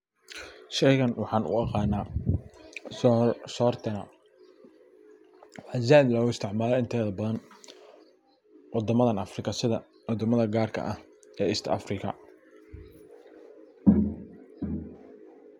Sheygan waxan u aqana sor. Sortana waxa zaid loga isticmala inteda badan sida wadamadan Afrika sida wadamadha gaar ah ee east Afrika .